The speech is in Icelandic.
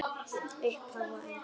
Upphaf og endi.